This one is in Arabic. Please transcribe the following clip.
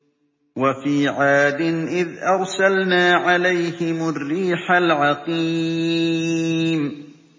وَفِي عَادٍ إِذْ أَرْسَلْنَا عَلَيْهِمُ الرِّيحَ الْعَقِيمَ